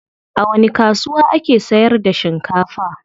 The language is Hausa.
A wani kasuwa ake sayar da shinkafa?